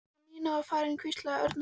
Þegar Nína var farin hvíslaði Örn að